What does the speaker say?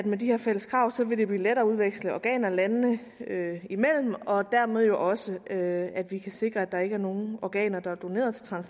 med de her fælles krav vil blive lettere at udveksle organer landene imellem og dermed jo også at sikre at der ikke er nogen organer der er doneret